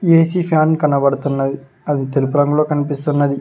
AC fan కనబడుతున్నది అది తెలుపు రంగులో కనిపిస్తున్నది.